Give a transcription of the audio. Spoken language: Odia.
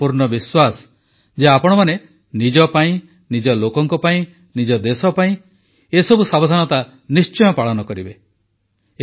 ମୋର ପୂର୍ଣ୍ଣ ବିଶ୍ୱାସ ଯେ ଆପଣମାନେ ନିଜ ପାଇଁ ନିଜ ଲୋକଙ୍କ ପାଇଁ ନିଜ ଦେଶ ପାଇଁ ଏସବୁ ସାବଧାନତା ନିଶ୍ଚୟ ପାଳନ କରିବେ